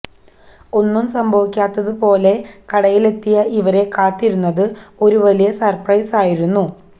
ഒന്നും സംഭവിക്കാത്തതു പോലെ കടയിലെത്തിയ ഇവരെ കാത്തിരുന്നത് ഒരു വലിയ സര്പ്രൈസായിരുന്നു